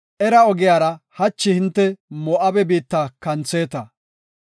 “Era ogiyara hachi hinte Moo7abe biitta kantheeta.